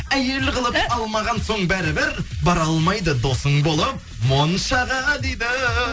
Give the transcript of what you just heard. әйел қылып алмаған соң бәрі бір бара алмайды досың болып моншаға дейді